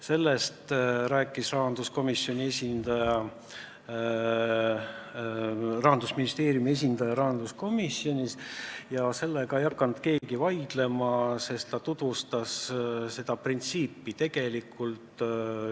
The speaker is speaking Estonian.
Sellest rääkis rahanduskomisjonis Rahandusministeeriumi esindaja ja selle vastu ei hakanud keegi vaidlema, kui ta seda printsiipi tutvustas.